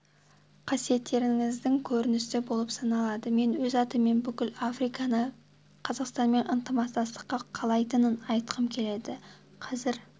қасиеттеріңіздің көрінісі болып саналады мен өз атымнан бүкіл африканың қазақстанмен ынтымақтастықты қалайтынын айтқым келеді қазір